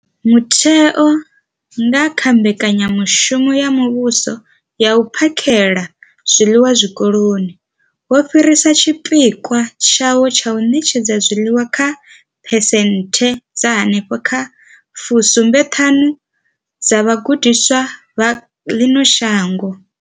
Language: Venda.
Mutheo, nga kha mbekanyamushumo ya muvhuso ya u phakhela zwiḽiwa Zwikoloni, wo fhirisa tshipikwa tshawo tsha u ṋetshedza zwiḽiwa kha phesenthe dza henefha kha 75 dza vhagudiswa vha ḽino shango.